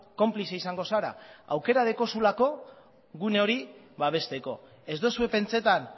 konplize izango zara aukera dekozulako gune hori babesteko ez dozue pentsetan